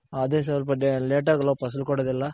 ಅದೆ ಸ್ವಲ್ಪ late ಆಗ್ ಅಲ್ವ ಫಸಲ್ ಕೊಡೋದ್ ಎಲ್ಲ